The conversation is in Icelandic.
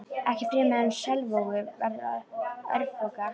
Ekki fremur en Selvogur verður örfoka.